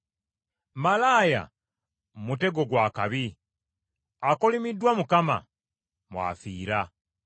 Malaaya mutego gwa kabi, akolimiddwa Mukama mw’afiira.